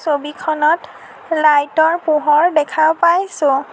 ছবিখনত লাইট ৰ পোহৰ দেখা পাইছোঁ।